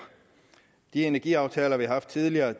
de energiaftaler vi har haft tidligere